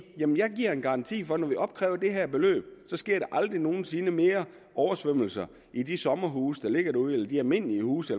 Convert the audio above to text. jeg giver en garanti for at når vi opkræver det her beløb så sker der aldrig nogen sinde mere oversvømmelser i de sommerhuse der ligger derude eller i de almindelige huse